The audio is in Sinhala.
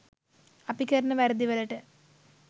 අපි කරන වැරදි වලට